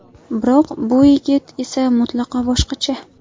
Biroq bu yigit esa mutlaqo boshqacha.